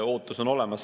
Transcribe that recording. Ootus on olemas.